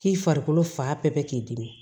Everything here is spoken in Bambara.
K'i farikolo fa bɛɛ k'i dimi